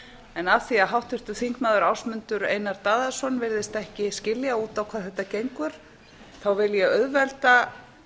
en af því að háttvirtur þingmaður ásmundur einar daðason virðist ekki skilja út á hvað þetta gengur vil ég auðvelda